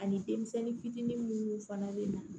Ani denmisɛnnin fitinin munnu fana be na